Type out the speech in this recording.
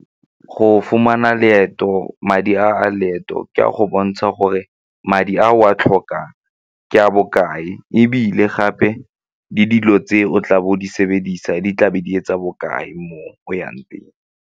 Go fumana leeto, madi a a leeto ke a go bontsha gore madi a o a tlhokang ke a bokae ebile gape le dilo tse o tla bo o di sebedisa di tlabe di etsa bokae mo o yang teng.